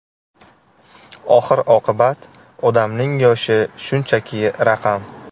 Oxir-oqibat, odamning yoshi shunchaki raqam.